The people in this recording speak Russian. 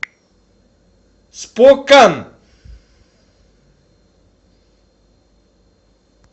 спокан